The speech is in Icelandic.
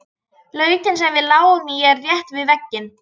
Lautin sem við lágum í er rétt við veginn.